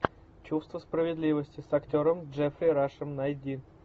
чувство справедливости с актером джеффри рашем найди